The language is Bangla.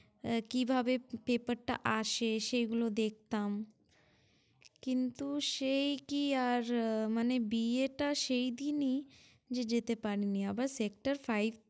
এ~ কিভাবে paper টা আসে সেগুলো দেখতাম। কিন্তু সেই কি আর মানে বিয়েটা সেই দিনই যে যেতে পারি নি। আবার sector five